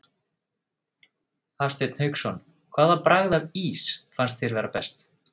Hafsteinn Hauksson: Hvaða bragð af ís fannst þér vera best?